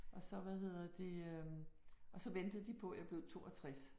Og så hvad hedder det øh og så ventede de på jeg blev 62